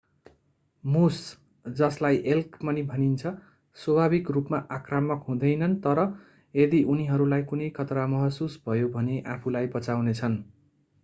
मुस जसलाई एल्क पनि भनिन्छ स्वाभाविक रूपमा आक्रामक हुँदैनन् तर यदि उनीहरूलाई कुनै खतरा महसुस भयो भने आफूलाई बचाउनेछन्।